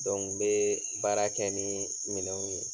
n be baara kɛ ni minɛnw ye.